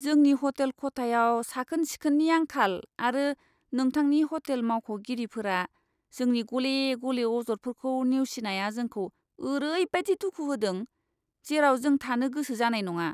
जोंनि हटेल खथायाव साखोन सिखोननि आंखाल आरो नोंथांनि ह'टेल मावख'गिरिफ्रा जोंनि गले गले अजदफोरखौ नेवसिनाया जोंखौ ओरैबायदि दुखु होदों, जेराव जों थानो गोसो जानाय नङा।